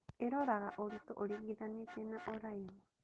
Ĩroraga ũritũ ũringithanĩtie na ũraihu